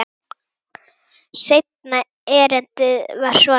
Seinna erindið var svona: